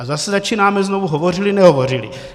A zase začínáme znovu - hovořily, nehovořily.